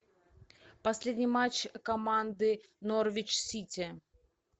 последний матч команды норвич сити